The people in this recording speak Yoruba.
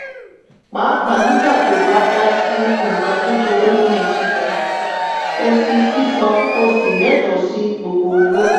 pàápàá nígbà tó bá dá sí nǹkan kékeré nínú sísan o ṣì sísan o ṣì lẹ́tọ̀ọ́ sí gbogbo owó.